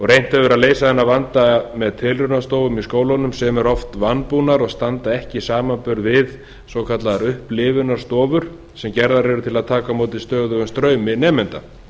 reynt hefur verið að leysa þennan vanda með tilraunastofum í skólunum sem eru oft vanbúnar og standast ekki samanburð við svokallaðar upplifunarstofur sem gerðar eru til að taka á móti stöðugum straumi nemenda